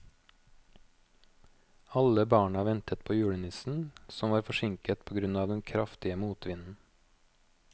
Alle barna ventet på julenissen, som var forsinket på grunn av den kraftige motvinden.